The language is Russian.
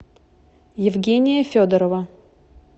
евгения федорова